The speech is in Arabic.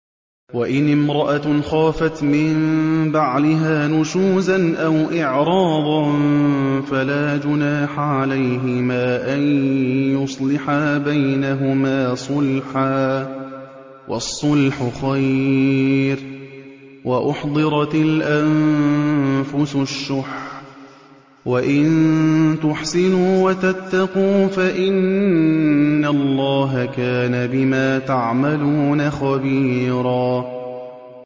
وَإِنِ امْرَأَةٌ خَافَتْ مِن بَعْلِهَا نُشُوزًا أَوْ إِعْرَاضًا فَلَا جُنَاحَ عَلَيْهِمَا أَن يُصْلِحَا بَيْنَهُمَا صُلْحًا ۚ وَالصُّلْحُ خَيْرٌ ۗ وَأُحْضِرَتِ الْأَنفُسُ الشُّحَّ ۚ وَإِن تُحْسِنُوا وَتَتَّقُوا فَإِنَّ اللَّهَ كَانَ بِمَا تَعْمَلُونَ خَبِيرًا